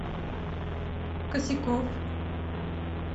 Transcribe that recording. косяков